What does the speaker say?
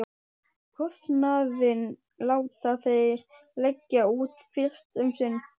Kostnaðinn láta þeir leggja út fyrst um sinn.